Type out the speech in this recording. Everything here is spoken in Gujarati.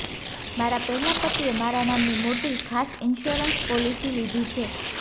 મારા પહેલા પતિએ મારા નામની મોટી ખાસ ઇન્સ્યોરન્સ પોલીસી લીધી છે